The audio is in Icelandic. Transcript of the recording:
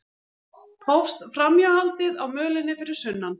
Hófst framhjáhaldið á mölinni fyrir sunnan